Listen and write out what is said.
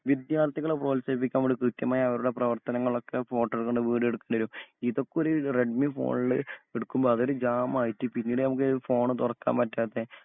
വിദ്യാർത്ഥികളെ പ്രോത്സാഹിപ്പിക്കാൻ വേണ്ടി കൃത്യമായ അവരുടെ പ്രവർത്തനങ്ങളൊക്കെ ഫോട്ടോ എടുക്കേണ്ടി വരും വീഡിയോ എടുക്കേണ്ടി വരും ഇതൊക്കൊരു റെഡ്‌മി ഫോണില് എടുക്കുമ്പോ അതിൽ ജാം ആയിട്ട് പിന്നീട് നമുക്ക് ഫോൺ തുറക്കാൻ പറ്റാത്ത